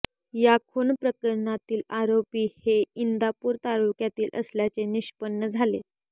या खून प्रकरणातील आरोपी हे इंदापूर तालुक्यातील असल्याचे निष्पन्न झाले